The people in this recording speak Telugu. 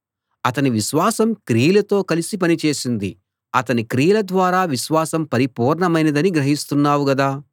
అతని విశ్వాసం క్రియలతో కలిసి పని చేసింది అతని క్రియల ద్వారా విశ్వాసం పరిపూర్ణమైనదని గ్రహిస్తున్నావు గదా